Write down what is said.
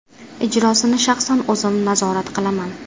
Ijrosini shaxsan o‘zim nazorat qilaman.